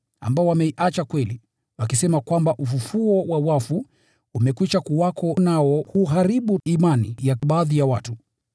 ambao wameiacha kweli, wakisema kwamba ufufuo wa wafu umekwisha kuwako, nao huharibu imani ya baadhi ya watu.